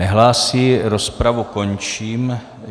Nehlásí, rozpravu končím.